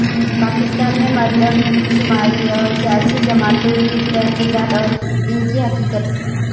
پاکستان میں مردم شماری پر سیاسی جماعتوں کے تحفظات اور ان کی حقیقت